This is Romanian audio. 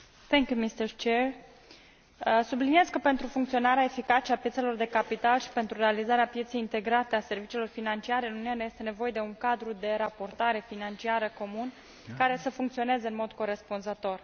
Domnule președinte, subliniez că, pentru funcționarea eficace a piețelor de capital și pentru realizarea pieței integrate a serviciilor financiare în Uniune, este nevoie de un cadru de raportare financiară comun, care să funcționeze în mod corespunzător.